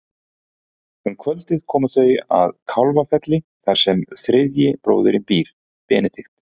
Um kvöldið koma þau að Kálfafelli þar sem þriðji bróðirinn býr, Benedikt.